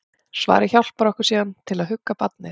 Svarið hjálpar okkur síðan til að hugga barnið.